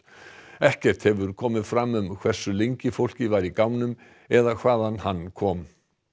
ekkert hefur komið fram um hversu lengi fólkið var í gámnum eða hvaðan hann kom